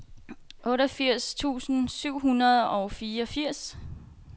otteogfirs tusind syv hundrede og fireogfirs